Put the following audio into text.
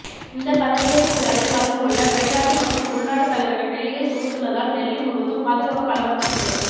இந்த பதவியேற்பு விழாவில் கலந்து கொள்ள வெளிநாட்டு மற்றும் உள்நாட்டு தலைவர்கள் டெல்லியில் குவிந்துள்ளதால் டெல்லி முழுவதும் பாதுகாப்பு பலப்படுத்தப்பட்டுள்ளது